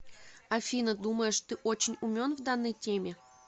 афина думаешь ты очень умен в данной теме